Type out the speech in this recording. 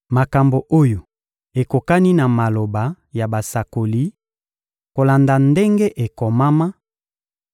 Makambo oyo ekokani na maloba ya basakoli, kolanda ndenge ekomama: